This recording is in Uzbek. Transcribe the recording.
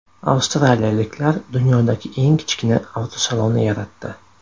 Avstraliyaliklar dunyodagi eng kichkina avtosalonni yaratdi.